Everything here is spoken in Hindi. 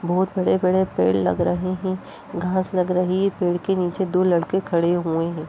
बहुत बड़े बड़े पेड़ लग रहे हैं घाँस लग रही ये पेड़ के नीचे दो लड़के खड़े हुए हैं।